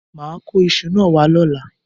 Mà á kó isu náà wá lọ́la